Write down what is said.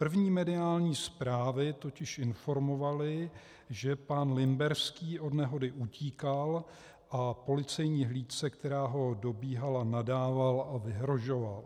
První mediální zprávy totiž informovaly, že pan Limberský od nehody utíkal a policejní hlídce, která ho dobíhala, nadával a vyhrožoval.